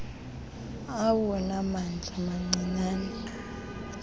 awona mandla mancinane